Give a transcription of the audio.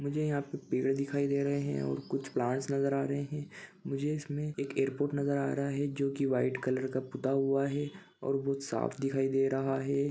मुझे यहाँ पे पेड़े दिखाई दे रहे हैं और कुछ प्लांट्स नज़र आ रहे हैं मुझे इसमें एक एयरपोर्ट नज़र आ रहा हैं जो वाइट कलर का पुता हुआ हैं और बहोत साफ दिखाई दे रहा हैं।